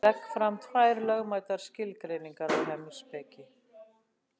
Ég legg fram tvær lögmætar skilgreiningar á heimspeki.